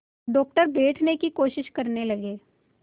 doctor बैठने की कोशिश करने लगे